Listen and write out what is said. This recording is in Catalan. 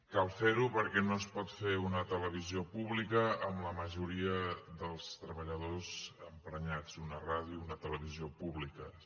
cal fer ho perquè no es pot fer una televisió pública amb la majoria dels treballadors emprenyats una ràdio una televisió públiques